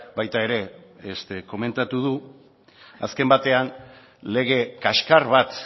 baita ere komentatu du azken batean lege kaskar bat